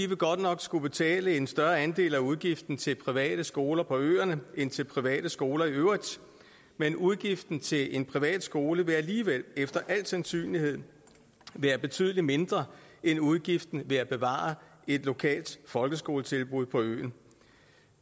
vil godt nok skulle betale en større andel af udgiften til private skoler på øerne end til private skoler i øvrigt men udgiften til en privat skole vil alligevel efter al sandsynlighed være betydelig mindre end udgiften ved at bevare et lokalt folkeskoletilbud på øen